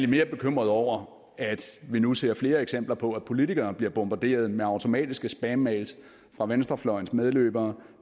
mere bekymret over at vi nu ser flere eksempler på at politikere bliver bombarderet med automatiske spammails fra venstrefløjens medløbere